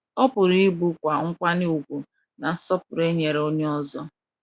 Ọ pụru ibu kwa nkwanye ùgwù na nsọpụru e nyere onye ọzọ.